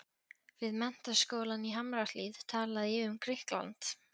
Við Menntaskólann í Hamrahlíð talaði ég um Grikkland.